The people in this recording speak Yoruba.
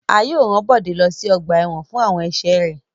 A yóò ran Bode lo si ọgba ẹ́wọ̀n fun awọn ẹṣẹ rẹ